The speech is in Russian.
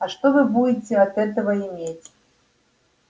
а что вы будете от этого иметь